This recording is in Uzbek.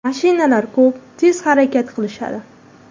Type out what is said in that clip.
Mashinalar ko‘p, tez harakat qilishadi.